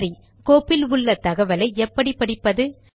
சரி கோப்பில் உள்ள தகவலை எப்படி படிப்பது